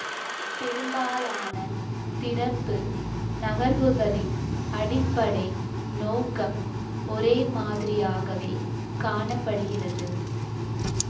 பெரும்பாலான திறப்பு நகர்வுகளின் அடிப்படை நோக்கம் ஒரேமாதிரியாகவே காண படுகிறது